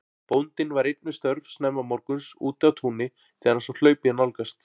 Bóndinn var einn við störf snemma morguns úti á túni þegar hann sá hlaupið nálgast.